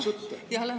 Jah.